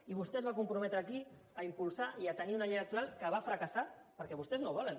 i vostè es va comprometre aquí a impulsar i a tenir una llei electoral que va fracassar perquè vostès no la volen